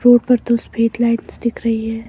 Road पर दो सफेद लाइट्स दिख रही है।